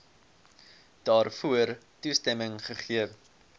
daarvoor toestemming gegee